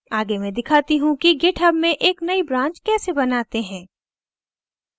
आगे मैं दिखाती how कि github में एक नई branch कैसे बनाते हैं